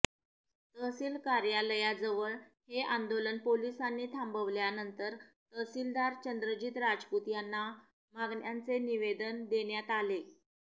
तहसील कार्यालयाजवळ हे आंदोलन पोलिसांनी थांबवल्यानंतर तहसीलदार चंद्रजीत राजपूत यांना मागण्यांचे निवेदन देण्यात आले